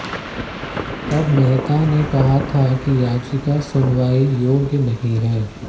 तब मेहता ने कहा था कि याचिका सुनवाई योग्य नहीं है